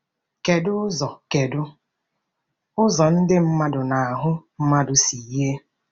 Kedu ụzọ Kedu ụzọ ndị mmadụ na ahụ mmadụ si yie?